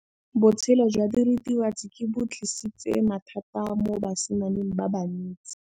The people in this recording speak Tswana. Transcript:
Botshelo jwa diritibatsi ke bo tlisitse mathata mo basimaneng ba bantsi.